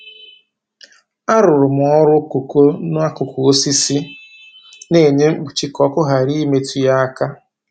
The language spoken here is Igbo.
Arụrụ m ọrụ kooko n'akụkụ osisi na-enye mkpuchi ka ọkụ ghara imetụ ya aka.